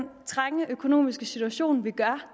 trange økonomiske situation vi gør